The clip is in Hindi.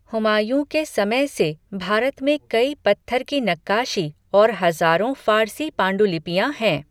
हुमायूँ के समय की भारत में कई पत्थर की नक्काशी और हज़ारों फ़ारसी पांडुलिपियाँ हैं।